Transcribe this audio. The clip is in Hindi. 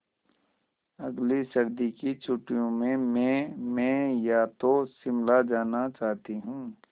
अगली सर्दी की छुट्टियों में मैं या तो शिमला जाना चाहती हूँ